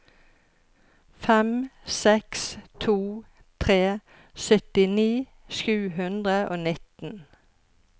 fem seks to tre syttini sju hundre og nitten